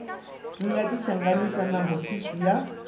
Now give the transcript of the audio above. nga tihlanganisa na hofisi ya